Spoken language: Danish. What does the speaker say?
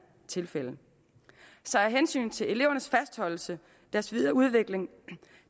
tilfælde så af hensyn til elevernes fastholdelse og deres videre udvikling